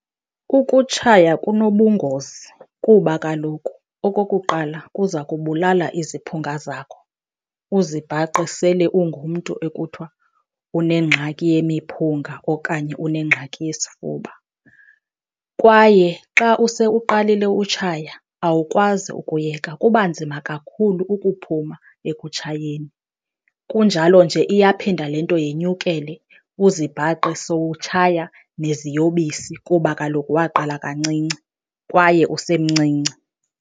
Ukutshaya kunobungozi kuba kaloku, okokuqala, kuza kubulala iziphunga zakho, uzibhaqe sele ungumntu ekuthiwa unengxaki yemiphunga okanye unengxaki yesifuba. Kwaye xa use uqalile utshaya awukwazi ukuyeka, kuba nzima kakhulu ukuphuma ekutshayeni, kunjalo nje iyaphinda le nto yenyukele uzibhaqe sowutshaya neziyobisi kuba kaloku waqala kancinci kwaye usemncinci.